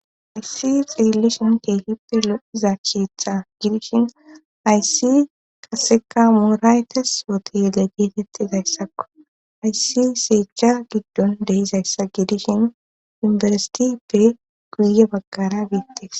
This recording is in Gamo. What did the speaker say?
Ayssi xeellishin teehippe lo7izaachitha gidishin ayssi qaseka mooraayte sootiyele geetettizayssakko ayssi seecha giddon deizayssa gidishin unbersitippe guye baggara biittes.